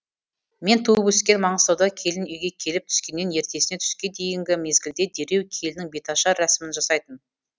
мен туып өскен маңғыстауда келін үйге келіп түскеннен ертесіне түске дейінгі мезгілде дереу келіннің беташар рәсімін жасайтын